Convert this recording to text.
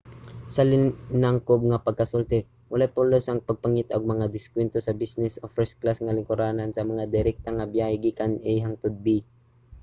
sa linangkob nga pagkasulti walay pulos ang pagpangita og mga diskwento sa mga business o first-class nga lingkuranan sa mga direkta nga biyahe gikan a hangtod b